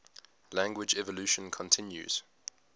language evolution continues